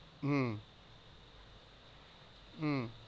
হম হম